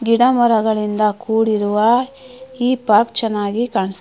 ಗಿಡಮರಗಳಿಂದ ಕೂಡಿರುವ ಈ ಪಾರ್ಕ್ ಚನ್ನಾಗಿ ಕಾಣಸ್ --